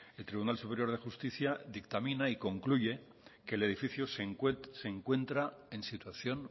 el tribunal superior de justicia dictamina y concluye que el edificio se encuentra en situación